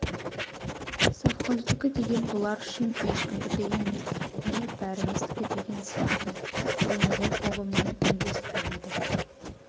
совхоздікі деген бұлар үшін ешкімдікі емес не бәріміздікі деген сияқты бұлыңғыр ұғыммен үндес келеді